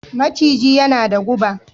Maciji yana da guɓa